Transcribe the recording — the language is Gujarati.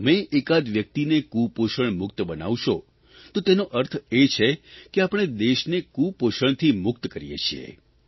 જો તમે એકાદ વ્યક્તિને કૂપોષણ મુક્ત બનાવશો તો તેનો અર્થ એ છે કે આપણે દેશને કૂપોષણથી મુક્ત કરીએ છીએ